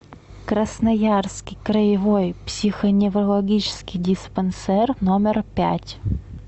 красноярский краевой психоневрологический диспансер номер пять